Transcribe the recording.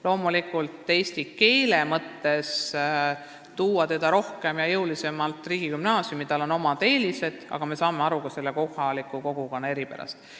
Loomulikult on eesti keele oskuse laiendamise mõttes otstarbekas tuua teda rohkem ja jõulisemalt riigigümnaasiumi, sel on omad eelised, aga me saame aru ka kohaliku kogukonna eripärast.